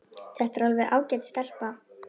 Þetta er alveg ágæt stelpa.